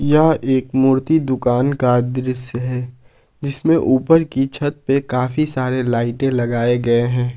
यह एक मूर्ति दुकान का दृश्य है जिसमें ऊपर की छत पे काफी सारे लाइटे लगाए गए हैं।